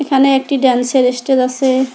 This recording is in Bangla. এখানে একটি ডান্সের এস্টেজ আছে।